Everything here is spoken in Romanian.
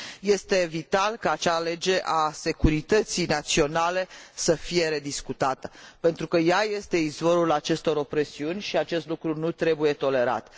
Este vital ca acea lege a securității naționale să fie rediscutată, pentru că ea este izvorul acestor opresiuni și acest lucru nu trebuie tolerat.